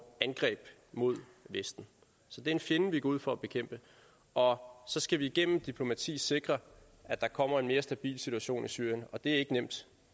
angreb mod vesten så det er en fjende vi går ud for at bekæmpe og så skal vi igennem diplomati sikre at der kommer en mere stabil situation i syrien og det er ikke nemt